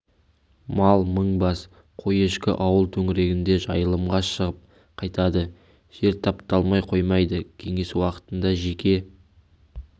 мал мың бас қой-ешкі ауыл төңірегінде жайылымға шығып қайтады жер тапталмай қоймайды кеңес уақытында жеке